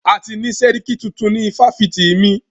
A ti ni sẹ́ríkí tuntun ni ifáfitì mí.